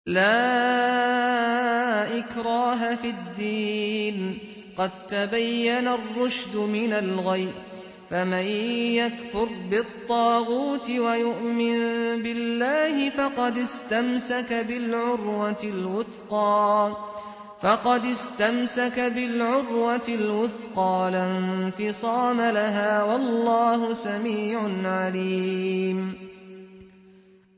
لَا إِكْرَاهَ فِي الدِّينِ ۖ قَد تَّبَيَّنَ الرُّشْدُ مِنَ الْغَيِّ ۚ فَمَن يَكْفُرْ بِالطَّاغُوتِ وَيُؤْمِن بِاللَّهِ فَقَدِ اسْتَمْسَكَ بِالْعُرْوَةِ الْوُثْقَىٰ لَا انفِصَامَ لَهَا ۗ وَاللَّهُ سَمِيعٌ عَلِيمٌ